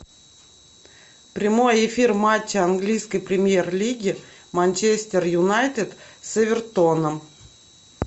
прямой эфир матча английской премьер лиги манчестер юнайтед с эвертоном